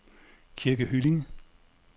Kirke Hyllinge